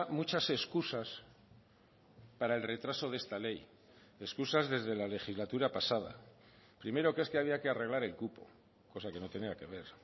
muchas excusas para el retraso de esta ley excusas desde la legislatura pasada primero que es que había que arreglar el cupo cosa que no tenía que ver